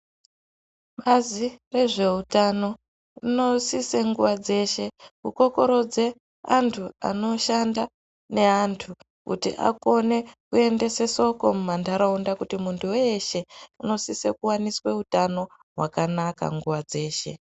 Bazi rezveutano rinosise nguwa dzeshe kukokorodze antu anoshanda neantu anosise kuendese shoko mumantaraunda kuti muntu weshe unosise kuone utano hwakanaka nguwa dzeshe.